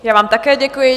Já vám také děkuji.